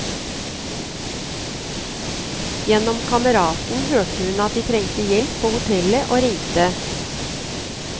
Gjennom kameraten hørte hun at de trengte hjelp på hotellet og ringte.